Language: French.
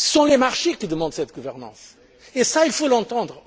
Ce sont les marchés qui demandent cette gouvernance et cela, il faut l'entendre.